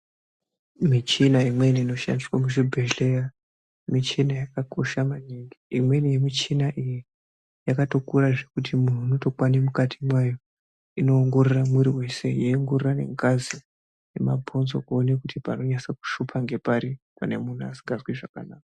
Michina imweni inoshandiswa muzvibhedhleya ,michina yakakosha maningi. Imweni yemichina iyi ,yakatokura zvekuti muntu unotokwane mukati mwayo. Inoongorora mwiri weshe yeiongorora nengazi ,nemabhonzo zveshe kuone kuti panonase kushupa ngepari, pane munhu asikazwi zvakanaka.